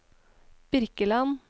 Birkeland